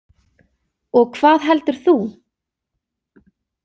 Og hvað heldur þú?